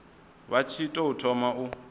vha tshi tou thoma u